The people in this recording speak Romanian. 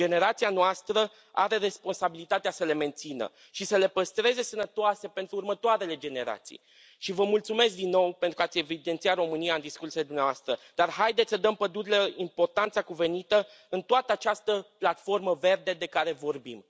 Generația noastră are responsabilitatea să le mențină și să le păstreze sănătoase pentru următoarele generații și vă mulțumesc din nou pentru ați evidențiat România în discursurile dumneavoastră, dar haideți să dăm pădurilor importanța cuvenită în toată această platformă verde de care vorbim.